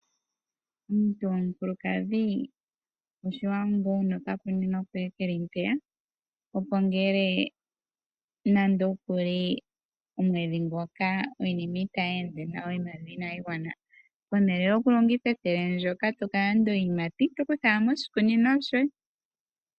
Omuntu gomukulukadhi oshiwanawa wuna oka kunino koye keli mpeya, opo ngele nando kuli omwedhi ngoka iinima itayi ende nawa, iimaliwa inayi gwana, pehala lyoku longitha ethele ndyoka toka landa iiyimati, oto kutha wala moshikunino shoye.